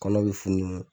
Kɔnɔ bɛ funu